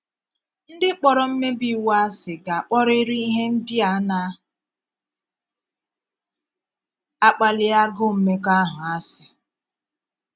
Ndị kpọrọ mmèbí iwu àsị ga - akpọrịrị ihe ndị na - akpàlí agụụ̀ mmekọahụ àsị.